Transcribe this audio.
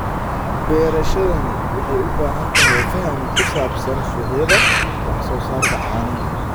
Beerashadani waxay u baahan tahay faham ku saabsan suuqyada wax soo saarka caanaha.